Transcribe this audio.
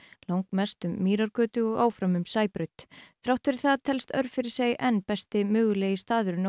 langmest um Mýrargötu og áfram um Sæbraut þrátt fyrir það telst Örfirisey enn besti mögulegi staðurinn á